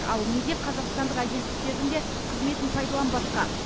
ал неге қазақстандық агенттіктердің де қызметін пайдаланбасқа